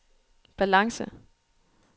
balance